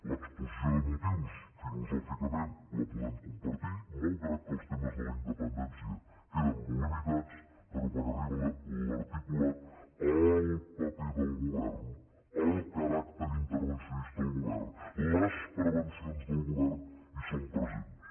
l’exposició de motius filosòficament la podem compartir malgrat que els temes de la in·dependència queden molt limitats però quan arriba l’articulat el paper del govern el caràcter inter·vencionista del govern les prevencions del govern hi són presents